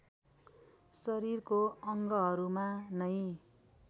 शरीरको अङ्गहरूमा नै